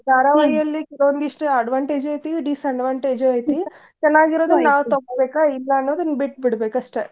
ಧಾರವಾಹಿಯಲ್ಲಿ ಕೆಲವಂದಿಸ್ಟ advantage ಐತಿ disadvantage ಉ ಐತಿ ಚೆನ್ನಾಗಿರೋದ್ ನಾವ್ ತಗೋಬೇಕಾ ಇಲ್ಲಾ ಅನ್ನೋದನ್ ಬಿಟ್ಬಿಡ್ಬೇಕ್ ಅಷ್ಟ.